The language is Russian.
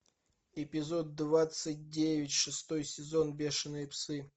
эпизод двадцать девять шестой сезон бешеные псы